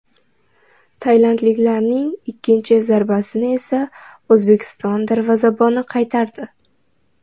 Tailandliklarning ikkinchi zarbasini esa O‘zbekiston darvozaboni qaytardi.